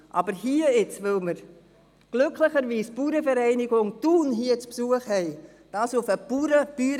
Aber das hier auf eine Bäuerinnen-, Bauerndebatte zu reduzieren, weil wir glücklicherweise die Bauernvereinigung Thun zu Besuch haben, das ist nicht richtig.